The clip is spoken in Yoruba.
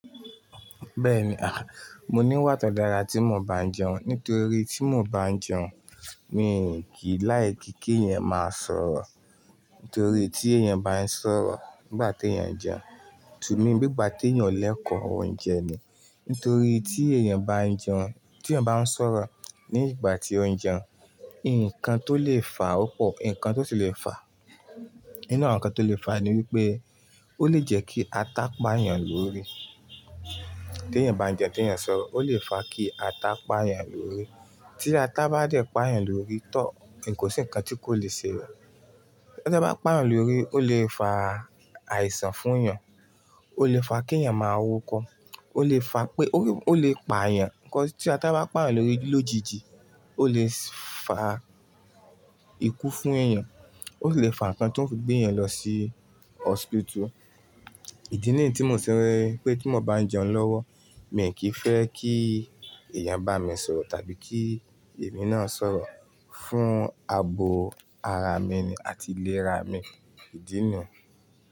Bẹ́ẹ̀ni, à, mo n'íwà tó dára tí mo bá n'jẹun, nítorí tí mo bá n'jẹun mi kì í láì kí kí ẹ̀yàn máa sọ̀rọ̀. Nítorí tí ẹ̀yàn bá ń sọ̀rọ̀ nígbà tí ẹ̀yàn n'ẹun, tùnmí bí ìgbà tí ẹ̀yàn o lẹ́kọ̀ọ́ oúnjẹ ni, nítorí tí ẹ̀yàn bá ń jẹun, tí ẹ̀yàn bá ń sọ̀rọ̀ ní ìgbà tí ó ń jẹun, ǹkan tó lè fa ó pọ̀. Ǹkan tó ti lè fa, inú àwọn ǹkan tó lè fa ni wípé ó lè jẹ kí ata pa ẹ̀yàn lórí. Tí ẹ̀yàn bá ń jẹun, tí ẹ̀yàn bá ń sọ̀rọ̀, ó lè fa kí ata pá ẹ̀yàn lórí. Tí ata bá dẹ pa ẹ̀yàn lórí tọ́ọ̀, ǹ kò sí ǹkan tí kò le ṣe o. Tí ata bá pa èèyàn lórí, ó lè fa àìsàn fún ẹ̀yàn, ó lè fa kí ẹ̀yàn máa wúko, ó lè fa pé ó lè pa ẹ̀yàn. Kōs tí ata bá pa ẹ̀yàn lórí lójijì, ó lè fa ikú fún ẹ̀yàn, ó lè fa ǹkan tó ń fi gbé ẹ̀yàn lọ sí ọọspitù. Ìdí nìyí tí mo ti rí pé tí mo bá jẹun lọ́wọ́, mi kì í fẹ́ kí ẹ̀yàn bá mi sọ̀rọ̀ tàbí kí èmi náà sọ̀rọ̀ fún abo ara mi ni àti iléra mi, ìdí nìyí.